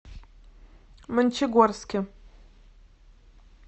мончегорске